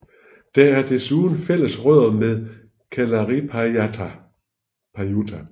Der er desuden fælles rødder med Kalarippayattu